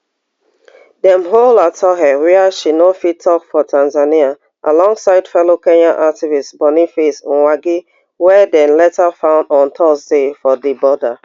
dem hold atuhaire wia she no fit tok for tanzania alongside fellow kenyan activist boniface mwangi wey dem later find on thursday for di border